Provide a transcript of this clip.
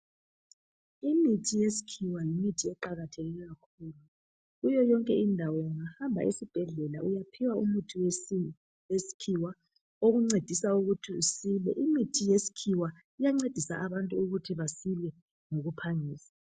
Imithi yesikhiwa yimithi eqakatheke kakhulu kuyo yonke indawo ungahamba esibhedlela uyaphiwa umuthu wesikhiwa okuncedisa ukuthi usile, imithi yesikhiwa iyancedisa abantu ukuthi basile ngokuphangisa.